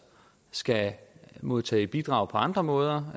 skal modtage bidrag på andre måder